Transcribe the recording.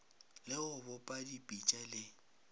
le go bopa dipitša le